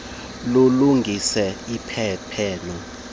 lulungiswe isiphene ngendleko